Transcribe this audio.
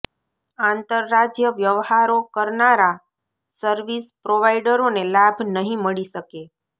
આંતરરાજ્ય વ્યવહારો કરનારા સર્વિસ પ્રોવાઈડરોને લાભ નહીં મળી શકે